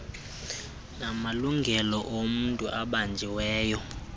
namalungelo omntu obanjiweyo